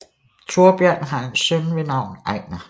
Thorbjørn har en søn ved navn Ejnar